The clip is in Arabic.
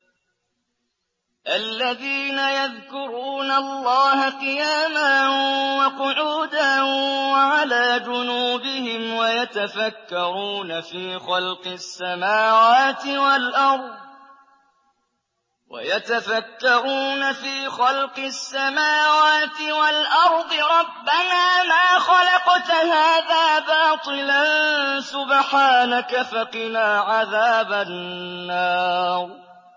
الَّذِينَ يَذْكُرُونَ اللَّهَ قِيَامًا وَقُعُودًا وَعَلَىٰ جُنُوبِهِمْ وَيَتَفَكَّرُونَ فِي خَلْقِ السَّمَاوَاتِ وَالْأَرْضِ رَبَّنَا مَا خَلَقْتَ هَٰذَا بَاطِلًا سُبْحَانَكَ فَقِنَا عَذَابَ النَّارِ